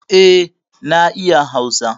E, na iya Hausa.